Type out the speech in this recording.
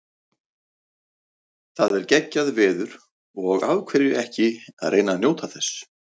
Það er geggjað veður og af hverju ekki að reyna að njóta þess.